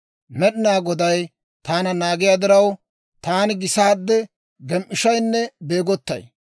Med'inaa Goday taana naagiyaa diraw, taani gisaade gem"ishaynne beegottay.